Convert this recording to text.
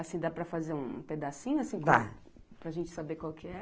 Assim, dá para fazer um pedacinho, assim, da, para gente saber qual que é?